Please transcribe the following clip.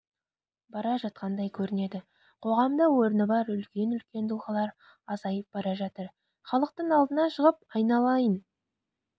бара жатқандай көрінеді қоғамда орны бар үлкен-үлкен тұлғалар азайып бара жатыр халықтың алдына шығып айналайын